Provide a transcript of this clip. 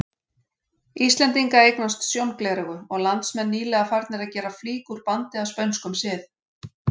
Íslendinga eignast sjóngleraugu, og landsmenn nýlega farnir að gera flík úr bandi að spönskum sið.